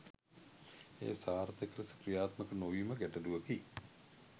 එය සාර්ථක ලෙස ක්‍රියාත්මක නොවීම ගැටලුවකි